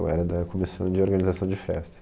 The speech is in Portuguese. Eu era da comissão de organização de festas.